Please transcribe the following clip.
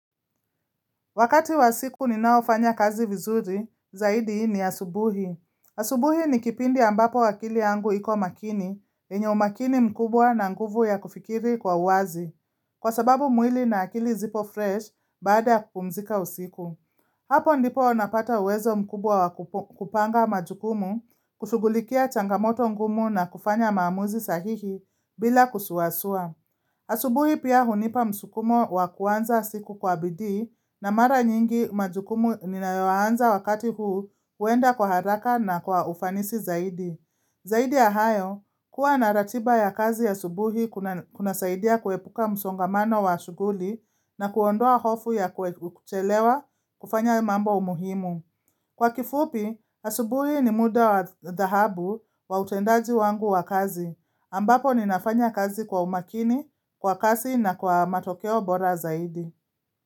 Wakati wa siku ninaofanya kazi vizuri, zaidi ni asubuhi. Asubuhi ni kipindi ambapo akili yangu iko makini, yenye umakini mkubwa na nguvu ya kufikiri kwa wazi. Kwa sababu mwili na akili zipo fresh, baada kupumzika usiku. Hapo ndipo napata uwezo mkubwa wa kupanga majukumu, kushughulikia changamoto ngumu na kufanya maamuzi sahihi bila kusuasua. Asubuhi pia hunipa msukumo wa kuanza siku kwa bidii na mara nyingi majukumu ninayoanza wakati huu huenda kwa haraka na kwa ufanisi zaidi. Zaidi ya hayo kuwa na ratiba ya kazi asubuhi kuna saidia kuepuka msongamano wa shughuli na kuondoa hofu ya kuchelewa kufanya mambo muhimu. Kwa kifupi, asubuhi ni muda wa dhahabu wa utendaji wangu wa kazi, ambapo ninafanya kazi kwa umakini, kwa kasi na kwa matokeo bora zaidi.